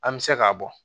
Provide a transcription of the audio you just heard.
An bɛ se k'a bɔ